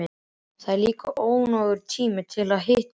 Það var líka nógur tími til að hitta þig.